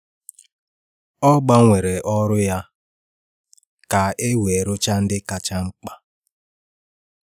Ọ gbanwere ọrụ ya ka e wee rụchaa ndị kacha mkpa.